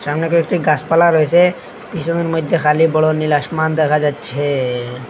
সামনে কয়েকটি গাসপালা রয়েসে পিসোনের মইদ্যে খালি বড় নীল আশমান দেখা যাচ্ছেএ।